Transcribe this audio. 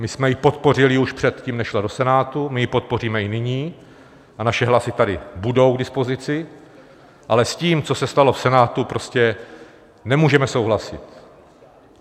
My jsme ji podpořili už předtím, než šla do Senátu, my ji podpoříme i nyní a naše hlasy tady budou k dispozici, ale s tím, co se stalo v Senátu, prostě nemůžeme souhlasit.